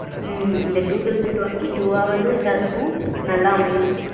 ஹம் இந்த two thousand twenty two வாவது எல்லாருக்கும் நல்லா அமையனும்.